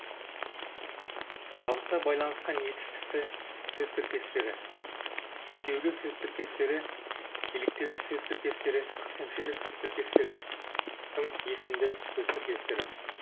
қабыса байланысқан етістікті сөз тіркестері үстеулі сөз тіркестері еліктеуіш сөз тіркестері көсемшелі сөз тіркестері сын есімді сөз тіркестері